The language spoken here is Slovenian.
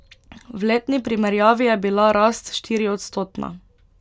V letni primerjavi je bila rast štiriodstotna.